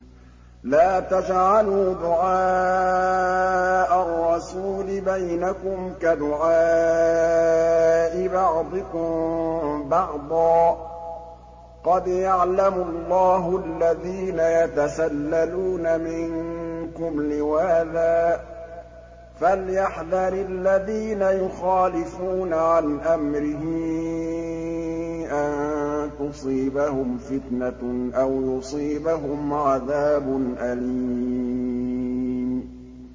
لَّا تَجْعَلُوا دُعَاءَ الرَّسُولِ بَيْنَكُمْ كَدُعَاءِ بَعْضِكُم بَعْضًا ۚ قَدْ يَعْلَمُ اللَّهُ الَّذِينَ يَتَسَلَّلُونَ مِنكُمْ لِوَاذًا ۚ فَلْيَحْذَرِ الَّذِينَ يُخَالِفُونَ عَنْ أَمْرِهِ أَن تُصِيبَهُمْ فِتْنَةٌ أَوْ يُصِيبَهُمْ عَذَابٌ أَلِيمٌ